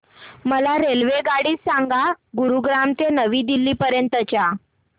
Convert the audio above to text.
मला रेल्वेगाडी सांगा गुरुग्राम ते नवी दिल्ली पर्यंत च्या